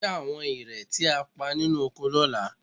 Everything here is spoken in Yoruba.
Dín àwọn ìrẹ̀ tí a pa nínú oko lọ́la